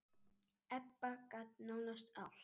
Ebba gat nánast allt.